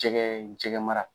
Jɛgɛ jɛgɛmara